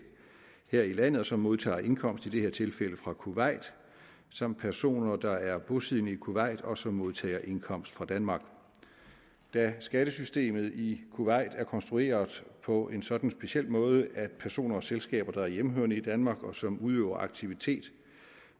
her i landet og som modtager indkomst i det her tilfælde fra kuwait samt personer der er bosiddende i kuwait og som modtager indkomst fra danmark skattesystemet i kuwait er konstrueret på en sådan speciel måde at personer og selskaber der er hjemmehørende i danmark og som udøver aktivitet